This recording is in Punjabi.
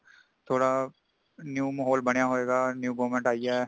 ਥੋੜਾ new ਮਾਹੋਲ ਬਣਿਆ ਹੋਇਗਾ new government ਆਇ ਹੈ |